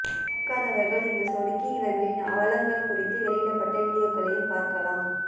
பர்க்காதவர்கள் இங்கு சொடுக்கி இவர்களின் அவலங்கள் குறித்து வெளியிடப்பட்ட வீடியோக்களையும் பார்க்கலாம்